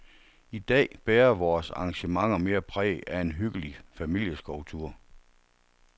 I dag bærer vores arrangementer mere præg af en hyggelig familieskovtur.